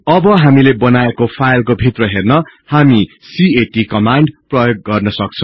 अब हामीले बनाएको फाईलको भित्र हेर्न हामी क्याट कमान्ड प्रयोग गर्न सक्छौ